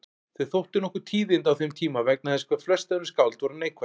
Þau þóttu nokkur tíðindi á þeim tíma vegna þess hvað flest önnur skáld voru neikvæð.